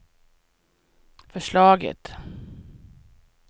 förslaget